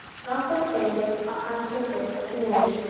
Langar til að hann setjist aftur niður.